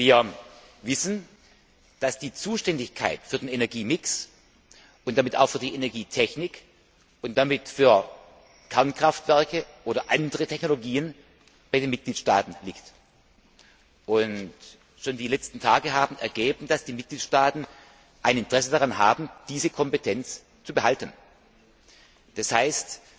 Wir wissen, dass die Zuständigkeit für den Energiemix und damit auch für die Energietechnik und damit für Kernkraftwerke oder andere Technologien bei den Mitgliedstaaten liegt. Schon in den letzten Tagen hat sich gezeigt, dass die Mitgliedstaaten ein Interesse daran haben, diese Kompetenz zu behalten. Das heißt,